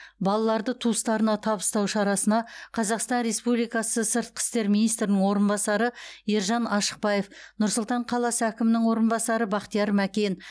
балаларды туыстарына табыстау шарасына қазақстан республикасы сыртқы істер министрінің орынбасары ержан ашықбаев нұр сұлтан қаласы әкімінің орынбасары бақтияр мәкен